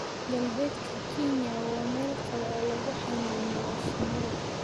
Galbeedka Kenya waa meel kale oo lagu xanaaneeyo shinida